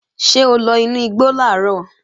Ṣé o lọ inú igbo làárọ̀?